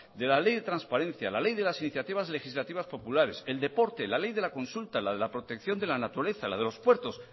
de la ley de transparencia la ley de las iniciativas legislativas populares el deporte la ley de la consulta la de la protección de la naturaleza la de los puertos